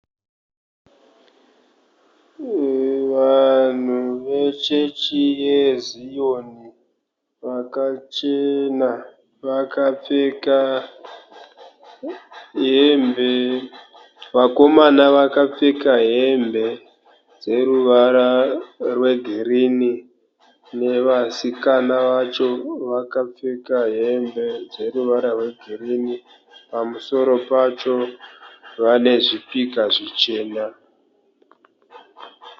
Vanhu vachechi yeziyoni vakachena. Vakapfeka hembe, vakomana vakapfeka hembe dzeruvara rwegirinhi. Nevasikana vacho vakapfeka hembe dzineruvara rwegirinhi, pamusoro pacho vane zvipika zvichena.